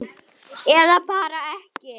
Eða bara ekki?